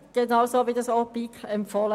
Genauso hat es auch die BiK empfohlen.